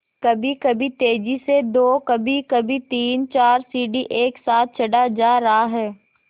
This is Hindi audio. कभीकभी तेज़ी से दो कभीकभी तीनचार सीढ़ी एक साथ चढ़ा जा रहा है